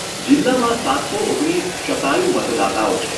જિલ્લામાં સાતસો ઓગણીસ શતાયુ મતદાતાઓ છે.